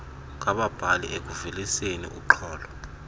ngababhali ekuveliseni urnxholo